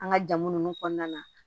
An ka jamu nunnu kɔnɔna na